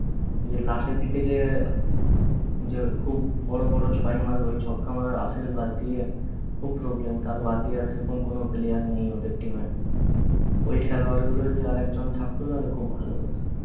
last এর দিকে যে যে খুব বড় বড় ছয় মারবে ঐ ছক্কা মারা রাসেল বাদ দিয়ে খুব problem কার বাদ দিয়ে সেইরকম কোন player নেই ওঁদের team এ ওই খালোয়াড় গুলোই যদি আরেকজন থাকত তাহলে খুব ভালো হতো